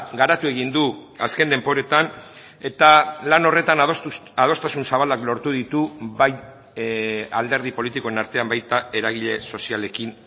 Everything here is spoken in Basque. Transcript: garatu egin du azken denboretan eta lan horretan adostasun zabalak lortu ditu bai alderdi politikoen artean baita eragile sozialekin